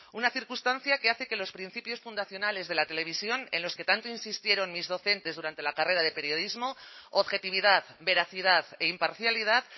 una circunstancia que hace que los principios fundacionales de la televisión en los que tanto insistieron mis docentes durante la carrera de periodismo objetividad veracidad e imparcialidad